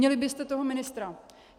Vinili byste toho ministra.